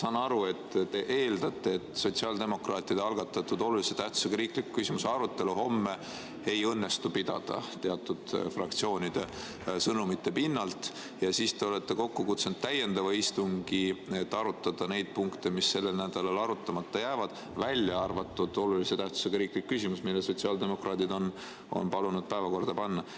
Ma saan aru, et te eeldate, et sotsiaaldemokraatide algatatud olulise tähtsusega riikliku küsimuse arutelu homme ei õnnestu pidada – teatud fraktsioonide sõnumite pinnalt –, ja siis te olete kokku kutsunud täiendava istungi, et arutada neid punkte, mis sellel nädalal arutamata jäävad, välja arvatud olulise tähtsusega riiklik küsimus, mille sotsiaaldemokraadid on palunud päevakorda panna.